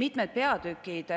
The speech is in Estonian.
Mitmed